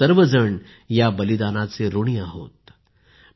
आम्ही सर्व जण या बलीदानाचे ऋणी आहोत